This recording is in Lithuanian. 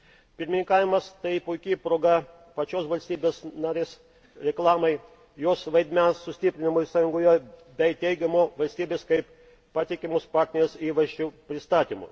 Pirmininkavimas tai puiki proga pačios valstybės narės reklamai, jos vaidmens sustiprinimui Sąjungoje bei teigiamo valstybės kaip patikimos partnerės įvaizdžio pristatymui.